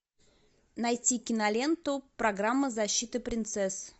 найти киноленту программа защиты принцесс